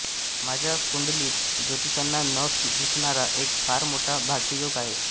माझ्या कुंडलीत ज्योतिष्यांना न दिसणारा एक फार मोठा भाग्ययोग आहे